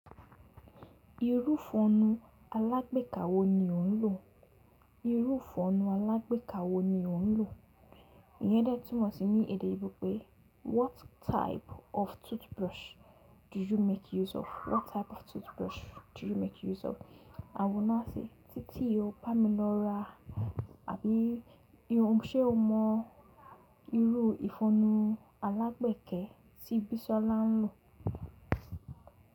Irú fọonú alágbèéka wó ni ò ń lò? Irú ifọnnú alágbèéka wó ni ò ń lò? Iyen de túmọ̀ sí ní èdè oyinbo pé what type of toothbrush do you make use of? What type of toothbrush do you make use of? Awóná àsì, títì ó pamílọ́rà àbí ṣé o mọ irú ìfọnnú alágbẹẹkẹ ti Bísọ́lá ń lò?